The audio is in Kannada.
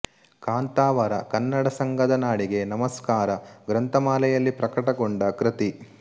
ಕಾಂತಾವರ ಕನ್ನಡ ಸಂಘದ ನಾಡಿಗೆ ನಮಸ್ಕಾರ ಗ್ರಂಥಮಾಲೆಯಲ್ಲಿ ಪ್ರಕಟಗೊಂಡ ಕೃತಿ